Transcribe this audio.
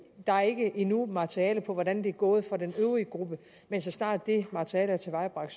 der er ikke endnu materiale for hvordan det er gået for den øvrige gruppe men så snart det materiale er tilvejebragt